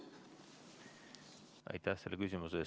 Aitäh selle küsimuse eest!